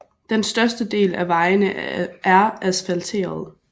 Den største del af vejene er asfalterede